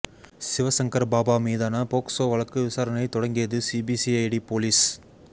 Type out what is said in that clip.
சிவசங்கர் பாபா மீதான போக்சோ வழக்கு விசாரணையை தொடங்கியது சிபிஐடி போலீஸ்